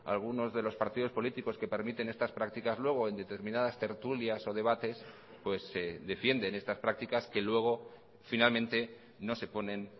algunos de los partidos políticos que permiten estas prácticas luego en determinadas tertulias o debates pues defienden estas prácticas que luego finalmente no se ponen